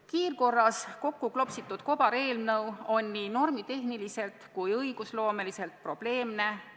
Kiirkorras kokku klopsitud kobareelnõu on nii normitehniliselt kui ka õigusloomeliselt probleemne.